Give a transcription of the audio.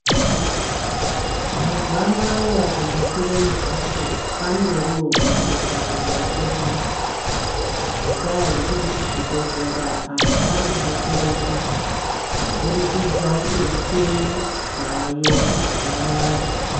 Mazuwa anaya kundofire mumphatso kwandoriwo kuite sarudzo yako muntu, ngendaa yekuti kuzvibhedhlera antu ari kudetsereka, kuburikidza ngemicheni yaayo mazuwa anaya.